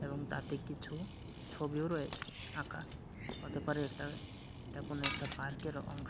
এবং তাতে কিছু ছবিও রয়েছে আঁকা হতে পারে একটা এটা কোনো একটা পার্কের অংশ।